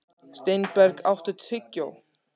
Steinberg, áttu tyggjó?